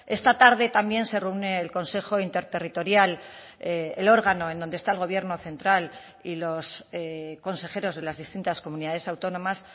esta tarde también se reúne el consejo interterritorial el órgano en donde está el gobierno central y los consejeros de las distintas comunidades autónomas